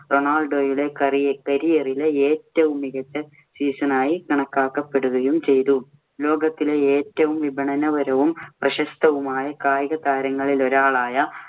റൊണാൾഡോയുടെ കറിയ~ career ഇലെ ഏറ്റവും മികച്ച season ആയി കണക്കാക്കപ്പെടുകയും ചെയ്തു. ലോകത്തിലെ ഏറ്റവും വിപണനപരവും പ്രശസ്തവുമായ കായികതാരങ്ങളിലൊരാളായ